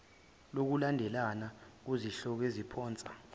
lokulandelana kuzihloko eziphonsa